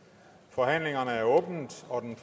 forhandlingerne er åbnet og den